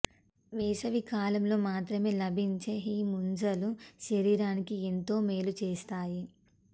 వేసవికాలంలో మాత్రమే లభించే ఈ ముంజలు శరీరానికి ఎంతో మేలు చేస్తాయి